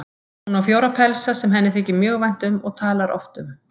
Hún á fjóra pelsa sem henni þykir mjög vænt um og talar oft um.